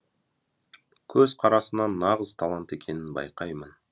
көзқарасынан нағыз талант екенін байқаймын